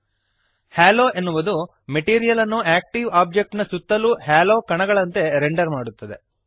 ಹಾಲೋ halo ಎನ್ನುವುದು material ಅನ್ನು active object ನ ಸುತ್ತಲೂ ಹ್ಯಾಲೊ ಕಣಗಳಂತೆ ರೆಂಡರ್ ಮಾಡುತ್ತದೆ